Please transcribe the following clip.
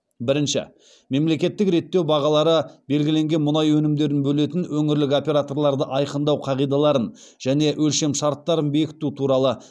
бірінші мемлекеттік реттеу бағалары белгіленген мұнай өнімдерін бөлетін өңірлік операторларды айқындау қағидаларын және өлшемшарттарын бекіту туралы